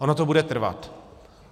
Ono to bude trvat.